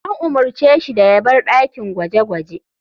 An umarce shi da ya bar dakin gwaje-gwaje.